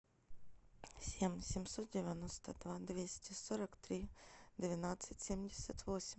семь семьсот девяносто два двести сорок три двенадцать семьдесят восемь